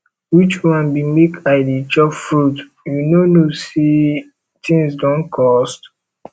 which one be make i dey chop fruit you no know say things don cost